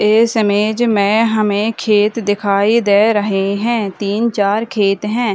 इस इमेज में हमें खेत दिखाई दे रहें हैं तीन चार खेत हैं।